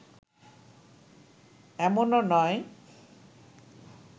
এমনও নয়